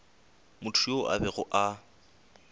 motho yoo a bego a